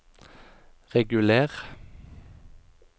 reguler